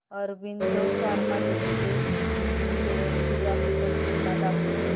Aurobindo Pharma Limited shares ची graphical तुलना दाखव